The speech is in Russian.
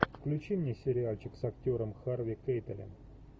включи мне сериальчик с актером харви кейтелем